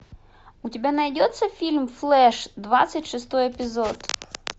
у тебя найдется фильм флэш двадцать шестой эпизод